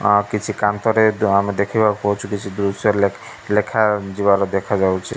ହଁ କିଛି କାନ୍ଥରେ ଆମେ ଦେଖିବାକୁ ପାଉଛୁ କିଛି ଦୃଶ୍ୟ ଲେଖା ଲେଖାଯିବାର ଦେଖାଯାଉଛି।